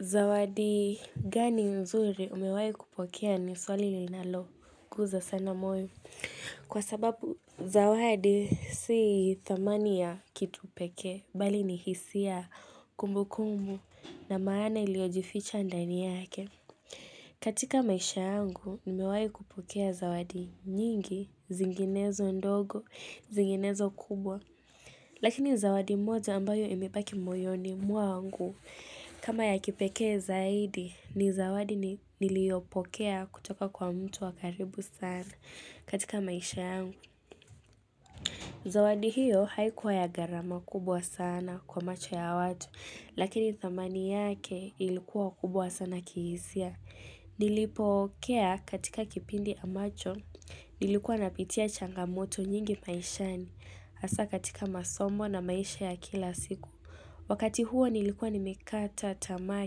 Zawadi gani nzuri umewai kupokea ni swali linalogusa sana moyo kwa sababu zawadi sii thamani ya kitu pekee bali nihisia kumbu kumbu na maana iliyojificha ndani yake. Katika maisha yangu umewai kupokea zawadi nyingi zinginezo ndogo zinginezo kubwa. Lakini zawadi moja ambayo imebaki moyoni mwangu kama ya kipekee zaidi ni zawadi niliyopokea kutoka kwa mtu wakaribu sana katika maisha yangu. Zawadi hiyo haikuwa ya gharama kubwa sana kwa macho ya watu lakini thamani yake ilikuwa kubwa sana kihisia. Nilipokea katika kipindi ambacho Nilikuwa napitia changamoto nyingi maishani hasa katika masomo na maisha ya kila siku Wakati huo nilikuwa nimekata tamaa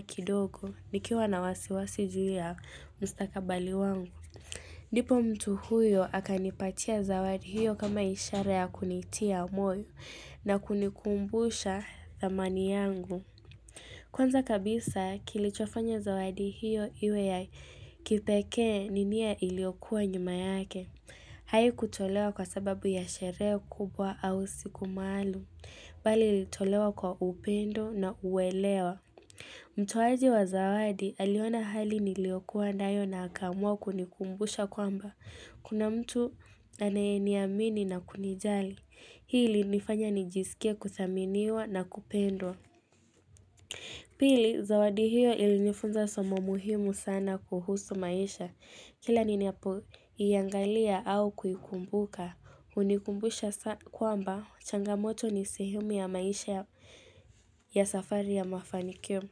kidogo Nikiwa na wasiwasi juu ya mustakabali wangu ndipo mtu huyo akanipatia zawadi hiyo kama ishara ya kunitia moyo na kunikumbusha zamani yangu Kwanza kabisa kilichofanya zawadi hiyo iwe ya kipekee ninia iliyokua nyuma yake. Hai kutolewa kwa sababu ya sherehe kubwa au siku maalum. Bali ilitolewa kwa upendo na uelewa. Mtowaji wa zawadi aliona hali niliokua nayo na akaamua kunikumbusha kwamba. Kuna mtu aneyeniamini na kunijali. Hii ilinifanya nijisikie kuthaminiwa na kupendwa. Pili, zawadi hiyo ilinifunza somo muhimu sana kuhusu maisha. Kila ninapoiangalia au kukumbuka, hunikumbusha kwamba changamoto ni sehemu ya maisha ya safari ya mafanikio.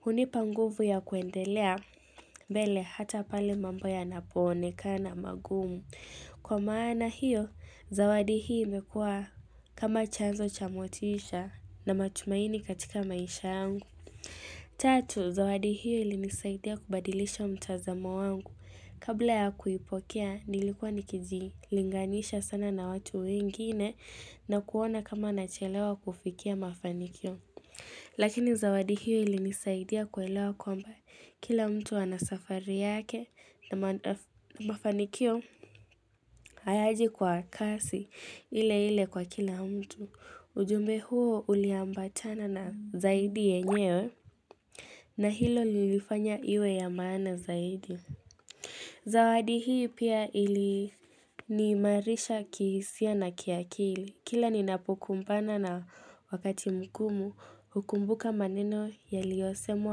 Hunipa nguvu ya kuendelea, mbele hata pale mambo yanapoonekana magumu. Kwa maana hiyo, zawadi hii imekuwa kama chanzo cha motisha na matumaini katika maisha yangu. Tatu, zawadi hiyo ilinisaidia kubadilisho mtazamo wangu. Kabla ya kuipokea, nilikuwa nikijilinganisha sana na watu wengine na kuona kama nachelewa kufikia mafanikio. Lakini zawadi hiyo ilinisaidia kuelewa kwamba kila mtu anasafari yake na mafanikio hayaji kwa kasi ile ile kwa kila mtu. Ujumbe huo uliambatana na zaidi yenyewe. Na hilo lilifanya iwe ya maana zaidi Zawadi hii pia iliniimarisha kihisia na kiakili Kila ninapokumpana na wakati mgumu hukumbuka maneno yaliyosemwa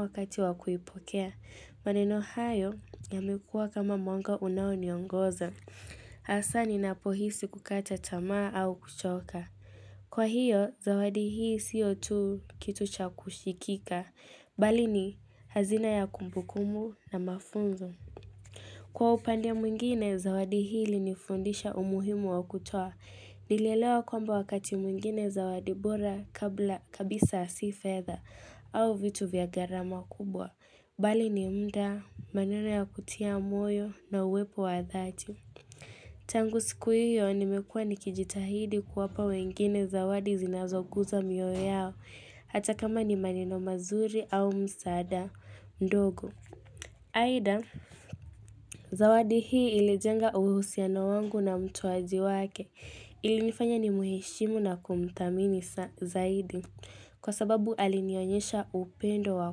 wakati wakuipokea maneno hayo yamekuwa kama mwanga unaoniongoza hsa ni napohisi kukata tamaa au kuchoka Kwa hiyo zawadi hii siyo tu kitu cha kushikika Bali ni hazina ya kumbukumu na mafunzo. Kwa upande mwingine, zawadi hili ilinifundisha umuhimu wa kutoa. Nilelewa kwamba wakati mwingine zawadi bora kabla kabisa sea fedha au vitu vya gharama kubwa. Bali ni muda, manena ya kutia moyo na uwepo wa dhati. Tangu siku hiyo, nimekuwa nikijitahidi kuwapa wengine zawadi zinazoguza mioyo yao. Hata kama ni maneno mazuri au msaada ndogo aidha, zawadi hii ilijenga uhusiano wangu na mtu mtoaji wake ilinifanya ni mheshimu na kumthamini zaidi Kwa sababu alinionyesha upendo wa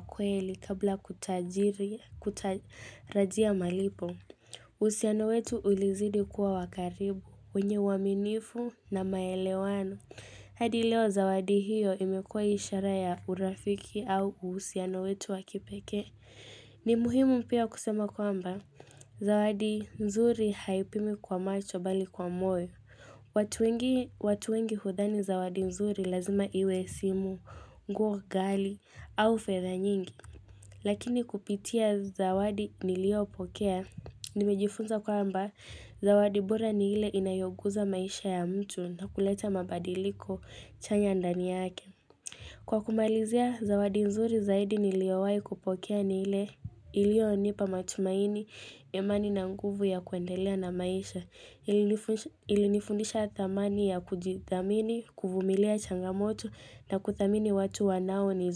kweli kabla kutajiri, kutarajia malipo uhusiano wetu ulizidi kuwa wakaribu, wenye uaminifu na maelewano hadi leo zawadi hiyo imekuwa ishara ya urafiki au uhusiano wetu wakipekee. Ni muhimu pia kusema kwamba, zawadi nzuri haipimwi kwa macho bali kwa moyo. Watu wengi hudhani zawadi nzuri lazima iwe simu, nguo ghali, au fedha nyingi. Lakini kupitia zawadi niliopokea, nimejifunza kwamba, Zawadi bora ni ile inayoguza maisha ya mtu na kuleta mabadiliko chanya ndani yake. Kwa kumalizia, zawadi nzuri zaidi niliowai kupokea ni ile iliyonipa matumaini ya amani na nguvu ya kuendelea na maisha. Ilinifundisha thamani ya kujithamini, kuvumilia changamoto na kuthamini watu wanaonizu.